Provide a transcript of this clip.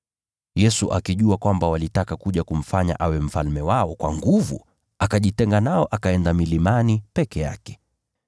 Yesu akijua kwamba walitaka kuja kumfanya awe mfalme wao, kwa nguvu, akajitenga nao akaenda milimani peke yake.